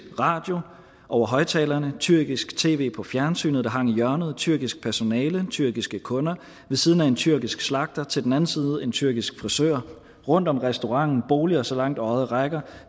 radio over højtalerne tyrkisk tv på fjernsynet der hang i hjørnet tyrkisk personale tyrkiske kunder ved siden af en tyrkisk slagter til den anden side en tyrkisk frisør rundt om restauranten boliger så langt øjet rækker